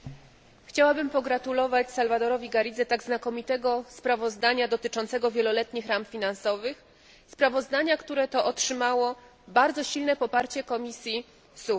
Chciałabym pogratulować Salvadorowi Garridze tak znakomitego sprawozdania dotyczącego wieloletnich ram finansowych sprawozdania, które otrzymało bardzo silne poparcie komisji SURE.